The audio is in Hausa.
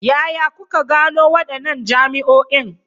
Yaya kuka gano wadannan jami'o'in?